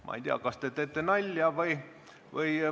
Ma ei tea, kas te teete nalja või.